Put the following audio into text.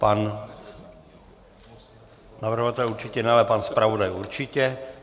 Pan navrhovatel určitě ne, ale pak zpravodaj určitě.